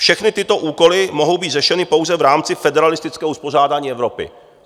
Všechny tyto úkoly mohou být řešeny pouze v rámci federalistického uspořádání Evropy."